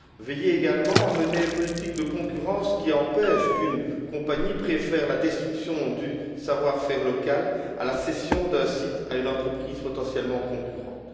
Il conviendrait également de veiller à mener une politique de concurrence qui empêche qu'une compagnie préfère la destruction du savoir faire local à la cession d'un site à une entreprise potentiellement concurrente.